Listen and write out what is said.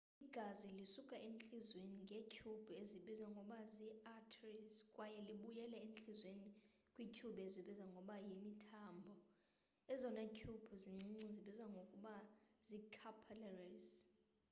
igazi lisuka entliziyweni ngeetyhubhu ezibizwa ngokuba zii arteries kwaye libuyele entliziyweni kwiityhubhu ezibizwa ngokuba yimithambo ezona tyhubhu zincinci zibizwa ngokuba zii-capillaries